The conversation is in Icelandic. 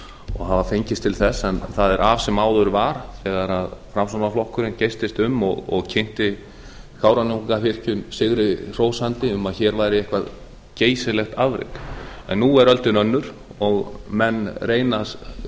og hafa fengist til þess en það er af sem áður var þegar framsóknarflokkurinn geystist um og kynnti kárahnjúkavirkjun sigri hrósandi um að hér væri eitthvert geysilegt afrek en nú er öldin önnur og menn reyna